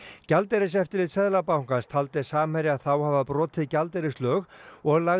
gjaldeyriseftirlit Seðlabankans taldi Samherja þá hafa brotið gjaldeyrislög og lagði